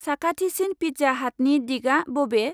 साखाथिसिन पिज्जा हाटनि दिगा बबे?